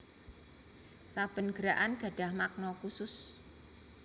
Saben gerakan gadhah makna khusus